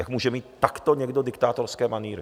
Jak může mít takto někdo diktátorské manýry!